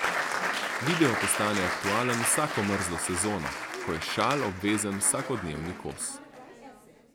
Video postane aktualen vsako mrzlo sezono, ko je šal obvezen vsakodnevni kos.